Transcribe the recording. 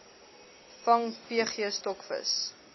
vang pg stokvis